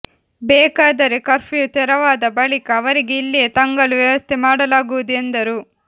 ಬೇಕಾದರೆ ಕರ್ಪ್ಯೂ ತೆರವಾದ ಬಳಿಕ ಅವರಿಗೆ ಇಲ್ಲಿಯೇ ತಂಗಲು ವ್ಯವಸ್ಥೆ ಮಾಡಲಾಗುವುದು ಎಂದರು